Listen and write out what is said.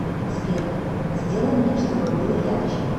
сбер сделай мне чтобы было ярче